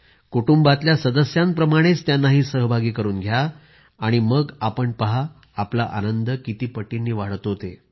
कुटुंबातल्या सदस्याप्रमाणेच त्यांना सहभागी करून घ्या मग आपण पहा आपला आनंद किती पटींनी वाढतो ते